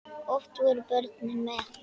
Oft voru börnin með.